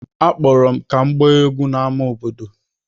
Akpọrọ m ka m gbaa egwú n’ámá obodo.